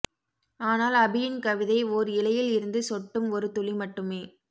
ஆனால் அபியின் கவிதை ஓர் இலையில் இருந்து சொட்டும் ஒரு துளி மட்டுமே